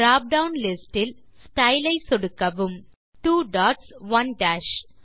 drop down list இல் style ஐ சொடுக்கவும் 2 டாட்ஸ் 1 டாஷ்